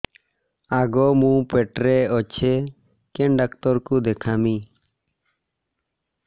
ଆଗୋ ମୁଁ ପେଟରେ ଅଛେ କେନ୍ ଡାକ୍ତର କୁ ଦେଖାମି